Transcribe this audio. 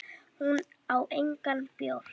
Hún á engan bjór.